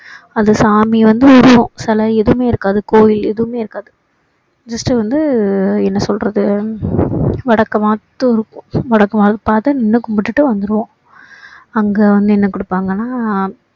அது சாமி வந்து உருவம் சிலை எதுவுமே இருக்காது கோவில் எதுவுமே இருக்காது just வந்து என்ன சொல்றது விளக்கு மட்டும் இருக்கும் வடக்க பார்த்து நின்னு கும்பிட்டுட்டு வந்திருவோம் அங்க வந்து என்ன கொடுப்பாங்கன்னா